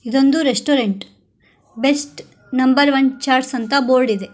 ಇದೊಂದು restaurant best number one charts ಅಂತ board ಇದೆ.